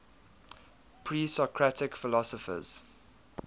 presocratic philosophers